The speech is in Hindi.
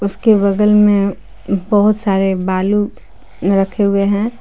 उसके बगल में बहुत सारे बालू रखे हुए हैं।